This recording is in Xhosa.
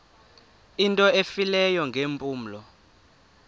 into efileyo ngeempumlo